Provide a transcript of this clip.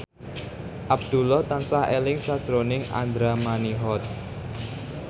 Abdullah tansah eling sakjroning Andra Manihot